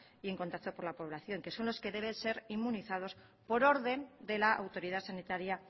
y en contacto con la población que son los que deben ser inmunizados por orden de la autoridad sanitaria